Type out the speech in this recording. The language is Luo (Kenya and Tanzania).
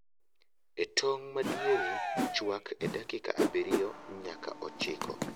E tong' madiere, chwak e dakika abirio nyaka ochiko